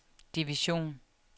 division